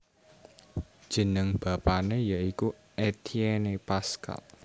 Jeneng bapané ya iku Étienne Pascal